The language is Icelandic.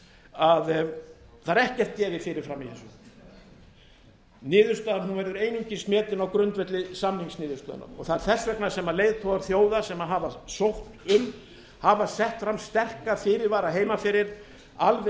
að það er ekkert gefið fyrir fram í þessu niðurstaðan verður einungis metin á grundvelli samningsniðurstaðna og það er þess vegna sem leiðtogar þjóða sem hafa sótt um hafa sett fram sterka fyrirvara heima fyrir alveg